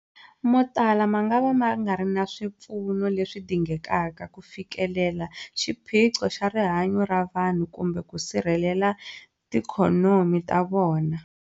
Motala mangava ma nga ri na swipfuno leswi dingekaka ku fikelela xiphiqo xa rihanyu ra vanhu kumbe ku sirhelela tiikhonomi ta vona.